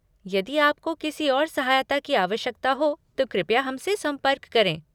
यदि आपको किसी और सहायता की आवश्यकता हो तो कृपया हमसे संपर्क करें।